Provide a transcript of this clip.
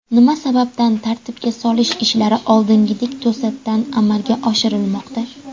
Nima sababdan tartibga solish ishlari oldingidek to‘satdan amalga oshirilmoqda?